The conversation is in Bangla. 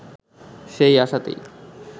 সেই আশাতেই